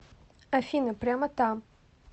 афина прямо там